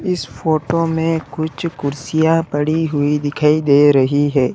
इस फोटो में कुछ कुर्सियां पड़ी हुई दिखाई दे रही है।